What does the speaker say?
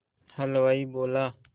हलवाई बोला